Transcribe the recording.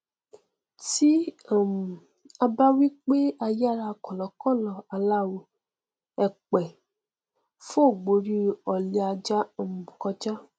tí um a bá wí pé ayára kọlọkọlọ aláwọ èèpẹ fò gborí ọlẹ ajá um kọjá